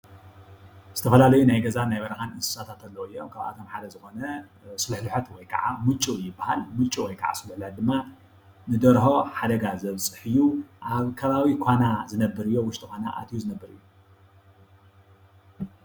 ዝተፈላለዩ ናይ ገዛን ናይ በረኻን እንስሳታት ኣለው እዮም። ካብኣቶም ሓደ ዝኾነ ስሉሕሉሖት ወይ ካዓ ሙጩ ይበሃል። ሙጩ ወይ ከዓ ስልሕልሖት ድማ ንደርሆ ሓደጋ ዘብፅሕ እዩ። ኣብ ከባቢ ኳና ዝነብር እዩ ኣብ ውሽጢ ኳና ኣቲዩ ዝነብር እዩ ።